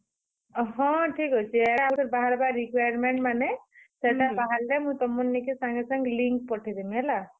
ହଁ, ଠିକ୍ ଅଛେ। ଇହାଦେ ବାହର୍ ବା requirement ମାନେ ସେଟା ବାହାର୍ ଲେ ମୁଇଁ ତୁମର ନିକେ ସାଙ୍ଗେ, ସାଙ୍ଗ link ପଠେଇ ଦେମି ହେଲା।